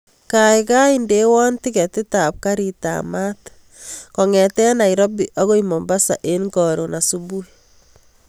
Kaikai indewon tiketit ab garit ab maat kongeten nairobi akoi mombasa en korun subui